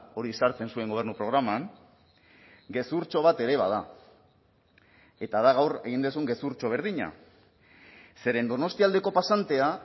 hori sartzen zuen gobernu programan gezurtxo bat ere bada eta da gaur egin duzun gezurtxo berdina zeren donostialdeko pasantea